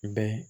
Bɛn